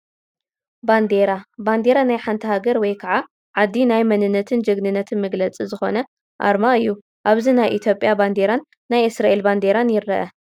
ባንዴራ፡- ባንዴራ ናይ ሓንቲ ሃገር ወይ ከዓ ዓዲ ናይ መንነትን ጅግንነትን መግለፂ ዝኾነ ኣርማ እዩ፡፡ ኣብዚ ናይ ኢ/ያ ባንዴራን ናይ እስራኤል ባንዴራን ይረአ፡፡